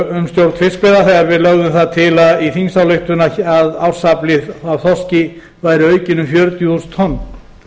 um stjórn fiskveiða þegar við lögðum það til í þingsályktun að ársafli af þorski væri aukinn um fjörutíu þúsund tonn